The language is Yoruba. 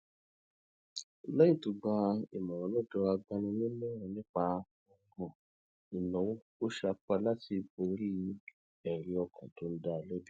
léyìn tó gba ìmòràn lódò agbaninímòràn nípa òràn ìnáwó ó sapá láti borí èrí ọkàn tó ń dá a lébi